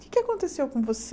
O que é que aconteceu com você?